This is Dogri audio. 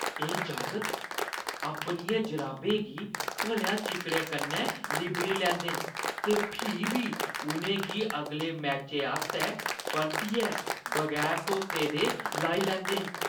एह् जागत अपनियें जराबें गी भलेआं चिक्कड़ै कन्नै लिब्बड़ी लैंदे न ते फ्ही बी उʼनें गी अगले मैचै आस्तै परतियै बगैर धोते दे लाई लैंदे न।